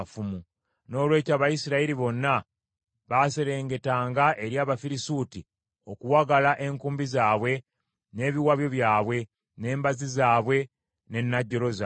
Noolwekyo Abayisirayiri bonna baaserengetanga eri Abafirisuuti, okuwagala enkumbi zaabwe, n’ebiwabyo byabwe, n’embazzi zaabwe, ne najjolo zaabwe.